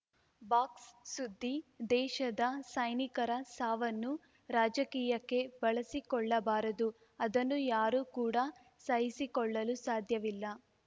box ಸುದ್ದಿ ದೇಶದ ಸೈನಿಕರ ಸಾವನ್ನು ರಾಜಕೀಯಕ್ಕೆ ಬಳಸಿಕೊಳ್ಳಬಾರದು ಅದನ್ನು ಯಾರು ಕೂಡ ಸಹಿಸಿಕೊಳ್ಳಲು ಸಾದ್ಯವಿಲ್ಲ